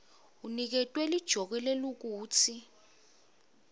uniketwe lijoke lekutsi